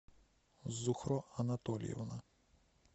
зухро анатольевна